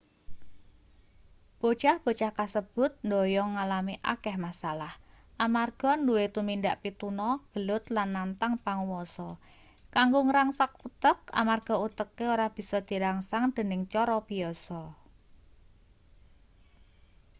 bocah-bocah kasebut ndhoyong ngalami akeh masalah amarga nduwe tumindak pituna gelut lan nantang panguwasa kanggo ngrangsang utek amarga uteke ora bisa dirangsang dening cara biyasa